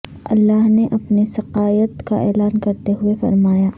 اللہ نے اپنی سقائیت کا اعلان کرتے ہوئے فرمایا